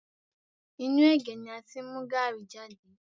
Inú ẹ̀gé ni a ti mú gaàrí jade